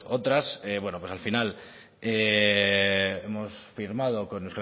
otras pues al final hemos firmado con